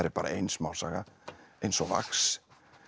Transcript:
bara ein smásaga eins og vax